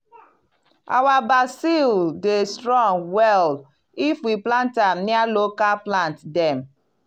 our basil dey strong well if we plant am near local plant dem.